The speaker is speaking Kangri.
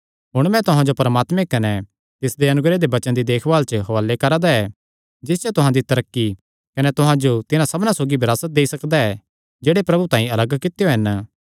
हुण मैं तुहां जो परमात्मे कने तिसदे अनुग्रह दे वचन दी देखभाल च हुआले करा दा ऐ जिस च तुहां दी तरक्की कने तुहां जो तिन्हां सबना सौगी विरासत देई सकदा ऐ जेह्ड़े प्रभु तांई अलग कित्यो हन